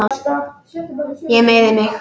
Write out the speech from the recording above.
Ég meiði mig.